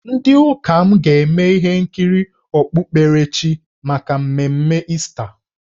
Ndị ụka m ga-eme ihe nkiri okpukperechi maka mmemme Ista.